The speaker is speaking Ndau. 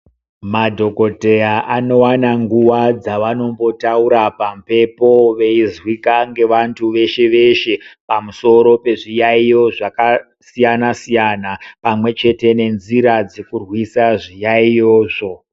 Madhokodheya anowana nguwa dzawanombotaura pamhepo veizwika ngevantu veshe -veshe pamusoro pezviyaiyo zvakasiyana -siyana pamwechete nenzira dzekurwisa zviyaiyozvo.